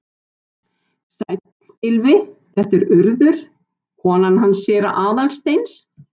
Sæll, Gylfi, þetta er Urður, konan hans séra Aðal steins.